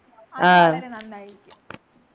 ആഹ്